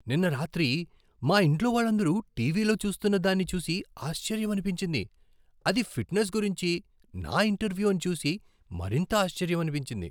నిన్న రాత్రి మా ఇంట్లో వాళ్ళందరూ టీవీలో చూస్తున్న దాన్ని చూసి ఆశ్చర్యమనిపించింది, అది ఫిట్నెస్ గురించి నా ఇంటర్వ్యూ అని చూసి మరింత ఆశ్చర్యమనిపించింది!